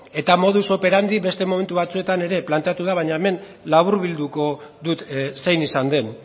eta modus operandi beste momentu batzuetan ere planteatu da baina hemen laburbilduko dut zein izan den